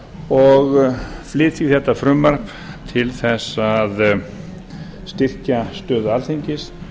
og flyt því þetta frumvarp til þess að styrkja stöðu alþingis